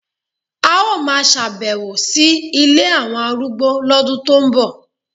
A ó máa ṣèbẹ̀wò sí ilé àwọn arúgbó lọ́dún tó ń bọ̀